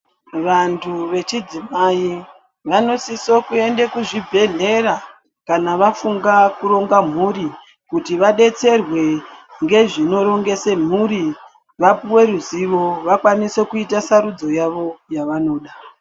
Vantu vechidzimai vanosiso kuende kuzvibhedhlera kana vafunga kuronga mhuri. Kuti vabetserwe ngezvinorongese mhuri vapuve ruzivo vakwanise kuita sarudzo yavo yavanoda.